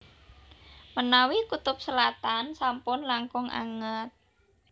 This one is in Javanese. Menawi kutub selatan sampun langkung anget